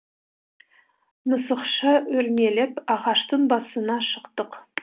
мысықша өрмелеп ағаштың басына шықтық